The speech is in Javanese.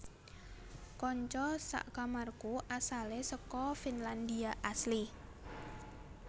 Konco sak kamarku asale seko Finlandia asli